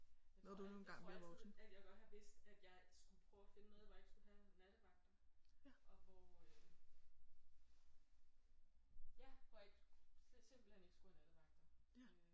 Jeg tror alt jeg tror altid at jeg godt har vidst at jeg skulle prøve at finde noget hvor jeg ikke skulle have nattevagter og hvor ja hvor jeg slet simpelthen ikke skulle have nattevagter øh